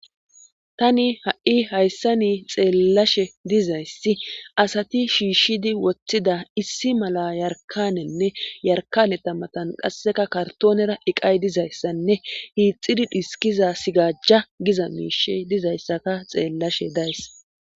tani ha7i hayssa nii xeellashe dizayssi asati shiishshidi woththida issi mala yarkanenne yarkaneta matan qasseka kartoonera iqay dizayssanne hiixidi dhiskiza sigajja giza miishe dizayssaka xeellashe days